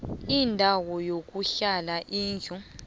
indawo yokuhlala indlu